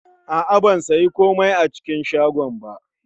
Ban yi komai a cikin shagon ba